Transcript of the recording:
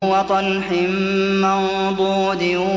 وَطَلْحٍ مَّنضُودٍ